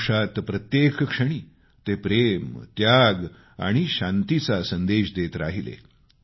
आयुष्यात प्रत्येक क्षणी ते प्रेम त्याग आणि शांतीचा संदेश देत राहिले